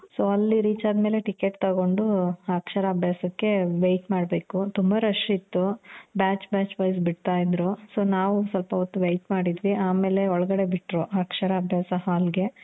so ಅಲ್ಲಿ reach ಆದ್ಮೇಲೆ ticket ತಗೊಂಡು ಅಕ್ಷರ ಅಭ್ಯಾಸಕ್ಕೆ wait ಮಾಡ್ಬೇಕು. ತುಂಬ rush ಇತ್ತು. batch batch wise ಬಿಡ್ತ ಇದ್ರು, so ನಾವು ಸ್ವಲ್ಪ ಹೊತ್ತು wait ಮಾಡಿದ್ವಿ. ಆಮೇಲೆ ಒಳಗಡೆ ಬಿಟ್ರು ಅಕ್ಷರ ಅಭ್ಯಾಸ ಹಾಲ್ ಗೆ .